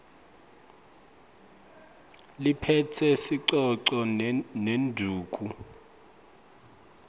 liphetse sicoco nendvuku